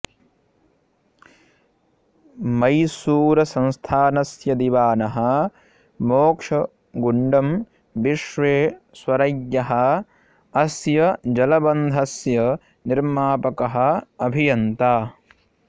मैसूरुसंस्थानस्य दिवानः मोक्षगुण्डं विश्वेश्वरय्यः अस्य जलबन्धस्य निर्मापकः अभियन्ता